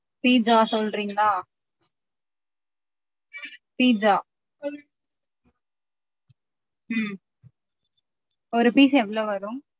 Pizza சொல்றிங்களா? pizza ஹம் ஒரு pizza எவ்ளோ வரும்?